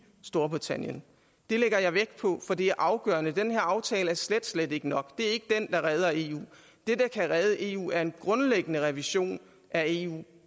storbritannien det lægger jeg vægt på for det er afgørende den her aftale er slet slet ikke nok det er ikke den der redder eu det der kan redde eu er en grundlæggende revision af eu